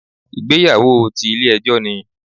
Ìgbéyàwó ti Ilé ejó ni